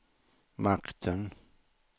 makten